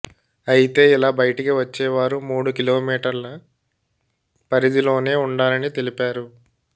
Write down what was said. అయితే ఇలా బయటికి వచ్చేవారు మూడు కిలోమీటర్ల పరిధలోనే ఉండాలని తెలిపారు